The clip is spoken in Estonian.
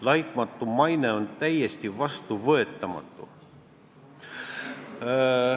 "Laitmatu maine" on täiesti vastuvõetamatu.